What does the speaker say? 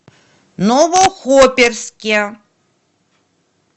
новохоперске